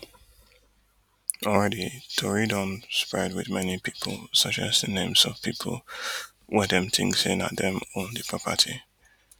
already tori don dey spread wit many pipo suggesting names of pipo wey dem think say na dem own di property